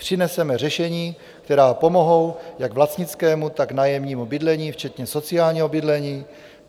Přineseme řešení, která pomohou jak vlastnickému, tak nájemnímu bydlení, včetně sociálního bydlení.